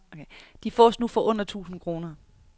De fås nu for under tusind kroner.